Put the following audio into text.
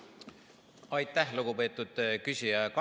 Aitäh, lugupeetud küsija!